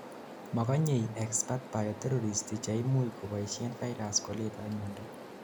makonyei experts bioterrorists cheimuch koboishen virus koletai miondo